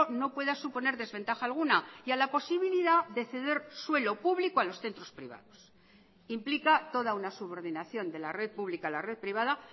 no pueda suponer desventaja alguna y a la posibilidad de ceder suelo público a los centros privados implica toda una subordinación de la red pública a la red privada